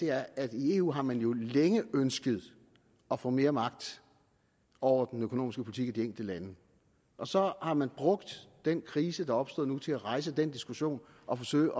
er at i eu har man jo længe ønsket at få mere magt over den økonomiske politik i de enkelte lande og så har man brugt den krise der er opstået nu til at rejse den diskussion og forsøge